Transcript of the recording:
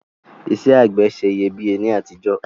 Isẹ́ àgbẹ̀ se iyebíye ni àtijọ́